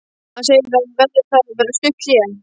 Hann segir að það verði þá að vera stutt hlé.